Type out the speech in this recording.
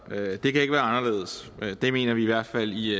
det kan ikke være anderledes det mener vi i hvert fald i